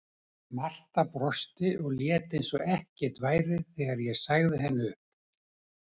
Marta brosti og lét eins og ekkert væri þegar ég sagði henni upp.